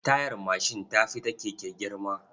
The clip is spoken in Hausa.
Tayar mashin ta fi ta keke girma.